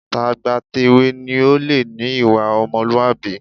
Tàgbàtèwe ni ó lè ní ìwà ọmọlúwàbí